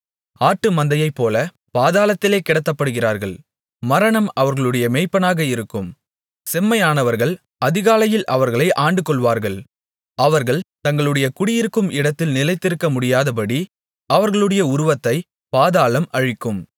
ஆட்டுமந்தையைப்போல பாதாளத்திலே கிடத்தப்படுகிறார்கள் மரணம் அவர்களுடைய மேய்ப்பனாக இருக்கும் செம்மையானவர்கள் அதிகாலையில் அவர்களை ஆண்டுகொள்வார்கள் அவர்கள் தங்களுடைய குடியிருக்கும் இடத்தில் நிலைத்திருக்கமுடியாதபடி அவர்களுடைய உருவத்தை பாதாளம் அழிக்கும்